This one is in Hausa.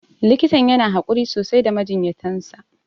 Likitan yana haƙuri sosai da majinyatan sa.